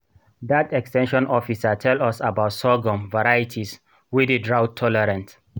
dat ex ten sion officer tell us about sorghum varieties wey dey drought-tolerant